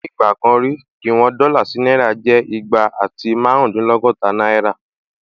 Nígbà kan rí, ìwọn dọ́là sí náírà jẹ́ igba àti márùndínlọ́gọ́ta náírà